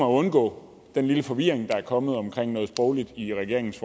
undgå den lille forvirring der er kommet om noget sprogligt i regeringens